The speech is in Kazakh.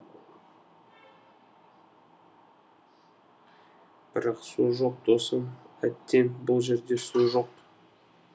бірақ су жоқ досым әттең бұл жерде су жоқ